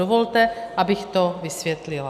Dovolte, abych to vysvětlila.